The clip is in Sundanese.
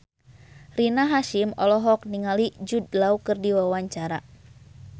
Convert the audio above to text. Rina Hasyim olohok ningali Jude Law keur diwawancara